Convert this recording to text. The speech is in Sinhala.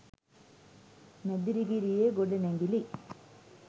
මැදිරිගිරියේ ගොඩනැගිලි